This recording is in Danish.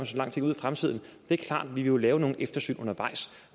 så lang tid ud i fremtiden det er klart at vi jo vil lave nogle eftersyn undervejs